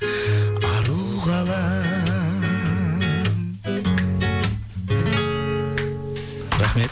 ару қалам